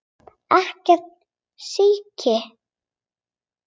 Ekkert síki.